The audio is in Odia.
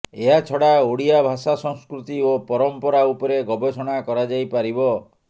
ଏହାଛଡ଼ା ଓଡ଼ିଆ ଭାଷା ସଂସ୍କୃତି ଓ ପରମ୍ପରା ଉପରେ ଗବେଷଣା କରାଯାଇପାରିବ